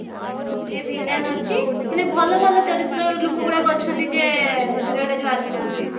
ସିଏ villain ଅଛି ମାନେ ଭଲ ଭଲ ଚରିତ୍ରର ଲୋକଗୁଡାକ ଅଛନ୍ତି ଏଇ serial ଟା ଯଉ ଆରମ୍ଭ ହଉଛି